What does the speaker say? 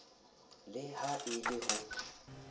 le ha e le ho